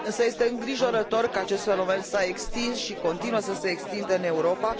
Însă este îngrijorător că acest fenomen s a extins și continuă să se extindă în Europa